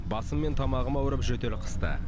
басым мен тамағым ауырып жөтел қысты